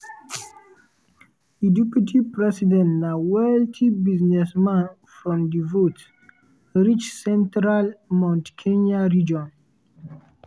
di deputy president na wealthy businessman from di vote-rich central mount kenya region.